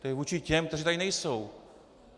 To je vůči těm, kteří tady nejsou.